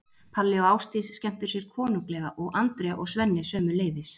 Palli og Ásdís skemmtu sér konunglega og Andrea og Svenni sömuleiðis.